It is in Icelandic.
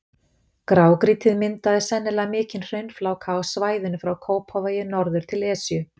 Grágrýtið myndaði sennilega mikinn hraunfláka á svæðinu frá Kópavogi norður til Esju.